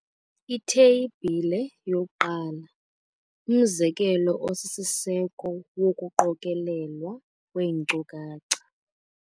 Itheyibhile 1- Umzekelo osisiseko wokuqokelelwa kweenkcukacha.